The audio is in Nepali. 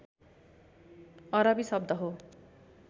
अरबी शब्द हो